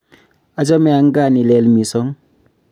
achame ankaa ni lel misong